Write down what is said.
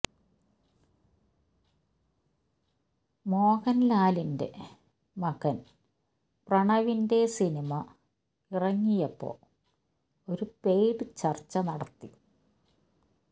മോഹൻലാലിൻറെ മകൻ പ്രണവിന്റെ സിനിമ ഇറങ്ങിയപ്പോ ഒരു പെയ്ഡ് ചർച്ച നടത്തി